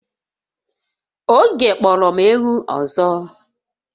Oge kporo m ewu ọzọ